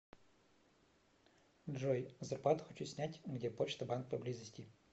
джой зарплату хочу снять где почта банк поблизости